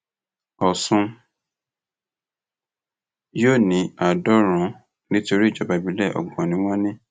ọṣùn yóò ní àádọrùnún nítorí ìjọba ìbílẹ ọgbọn ni wọn ní